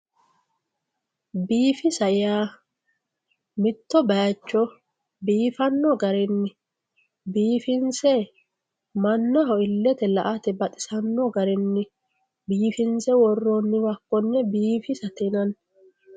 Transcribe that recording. biifisa yaa mitto bayiicho biifanno garinni biifinse mannaho illete la''ate baxisanno garinni biifinse worroonniwa konne biifisate yinanni.